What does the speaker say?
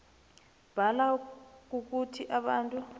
mbala kukuthi abantu